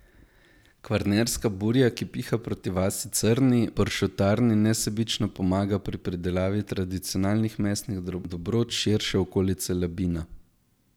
Kvarnerska burja, ki piha proti vasi Crni, pršutarni nesebično pomaga pri pridelavi tradicionalnih mesnih dobrot širše okolice Labina.